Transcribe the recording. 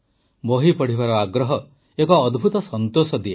ବହି ପଢ଼ିବାର ଆଗ୍ରହ ଏକ ଅଦ୍ଭୁତ ସନ୍ତୋଷ ଦିଏ